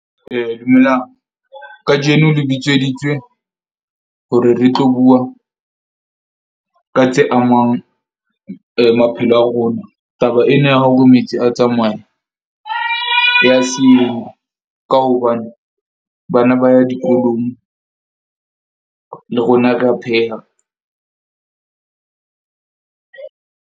Dumelang kajeno le bitseditswe hore le tlo bua ka tse amang maphelo a rona. Taba ena ya hore metsi a tsamaye ya ka hobane bana ba ya dikolong, le rona re a pheha .